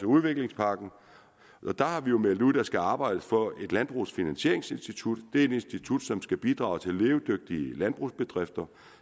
udviklingspakken der har vi jo meldt ud at der skal arbejdes for et landbrugsfinansieringsinstitut det er et institut som skal bidrage til levedygtige landbrugsbedrifter